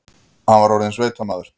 Hann var orðinn sveitamaður.